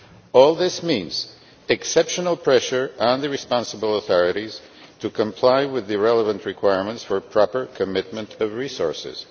All this means exceptional pressure on the responsible authorities to comply with the relevant requirements for proper commitment of resources.